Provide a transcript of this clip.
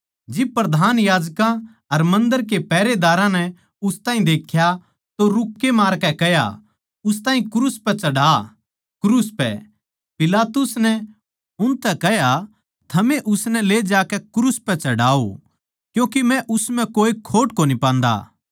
जिब प्रधान याजकां अर मन्दर के पैहरेदारां नै उस ताहीं देख्या तो रूक्के मारकै कह्या उस ताहीं क्रूस पै चढ़ा क्रूस पै पिलातुस नै उनतै कह्या थमए उसनै ले जाकै क्रूस पै चढ़ाओ क्यूँके मै उस म्ह कोए खोट कोनी पान्दा